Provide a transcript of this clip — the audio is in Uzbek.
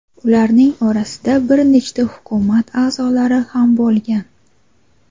Ularning orasida bir nechta hukumat a’zolari ham bo‘lgan.